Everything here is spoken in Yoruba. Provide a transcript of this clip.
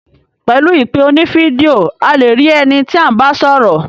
Pẹ̀lu ìpè oní video,a le rí ẹni tí à ń bá sọ́rọ̀.